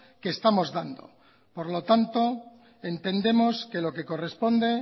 que estamos dando por lo tanto entendemos que lo que corresponde